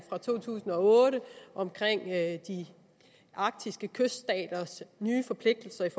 fra to tusind og otte om de arktiske kyststaters nye forpligtelser i